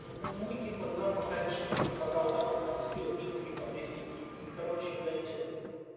мы типа нам пока решили вот пока вот так вот сделать метрики потестить и короче блять э